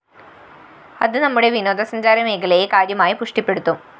അത് നമ്മുടെ വിനോദസഞ്ചാരമേഖലയെ കാര്യമായി പുഷ്ടിപ്പെടുത്തും